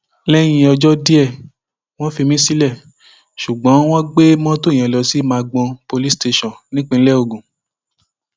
lẹyìn ọjọ díẹ wọn fi mí sílẹ ṣùgbọn wọn gbé mọtò yẹn lọ sí magbon police station nípínlẹ ogun